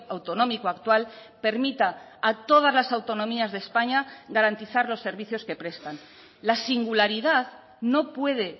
autonómico actual permita a todas las autonomías de españa garantizar los servicios que prestan la singularidad no puede